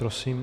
Prosím.